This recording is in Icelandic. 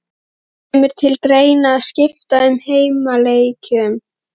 Kemur til greina að skipta á heimaleikjum?